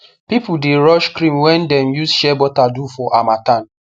people the rush cream wey dem use shea butter do for harmattan